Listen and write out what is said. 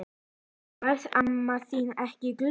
Varð amma þín ekki glöð?